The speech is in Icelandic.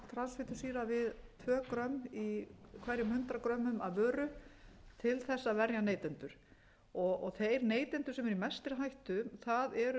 transfitusýra við tvö g í hverjum hundrað g af vöru til þess að verja neytendur þeir neytendur sem eru í mestri hættu það eru börn og